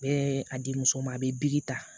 N bɛ a di muso ma a bɛ ta